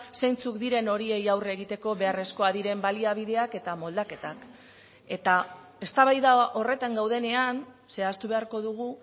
zeintzuk diren horiei aurre egiteko beharrezkoak diren baliabideak eta moldaketak eta eztabaida horretan gaudenean zehaztu beharko dugu